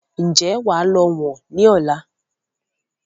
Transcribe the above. Ǹjẹ́ wà lọ wọ̀n ni ọ̀la?